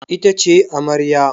Ita ce amaryar.